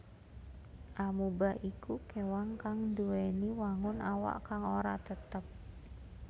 Amoeba iku kéwan kang nduwèni wangun awak kang ora tetep